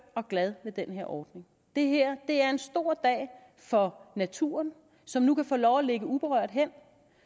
og glad for den her ordning det her er en stor dag for naturen som nu kan få lov at ligge uberørt hen og